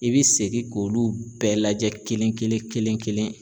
I bɛ segin k'olu bɛɛ lajɛ kelen kelen kelen kelen kelen.